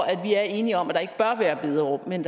at vi er enige om at der ikke bør være bederum men